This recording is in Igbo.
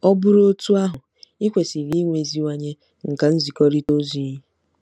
Ọ bụrụ otú ahụ, i kwesịrị imeziwanye nkà nzikọrịta ozi gị.